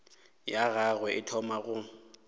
ya gagwe e thoma go